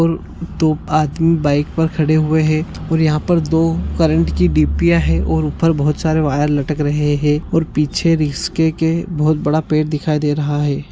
और दो आदमी बाइक पे खड़े हुए है और यहाँ पे दो करंट कि डीपिया है और ऊपर बहुत सारे वायर लटक रहे है और पीछे रिस्के के बहुत बड़ा पेड़ दिखाई दे रहा है।